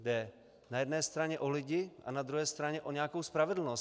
Jde na jedné straně o lidi a na druhé straně o nějakou spravedlnost.